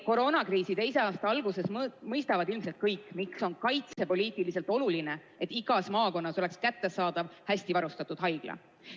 Koroonakriisi teise aasta alguses mõistavad ilmselt kõik, miks on kaitsepoliitiliselt oluline, et igas maakonnas oleks hästi varustatud haigla.